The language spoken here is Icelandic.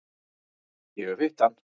Ég hef hitt hann.